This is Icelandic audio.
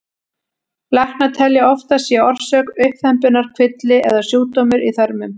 Læknar telja að oftast sé orsök uppþembunnar kvilli eða sjúkdómur í þörmum.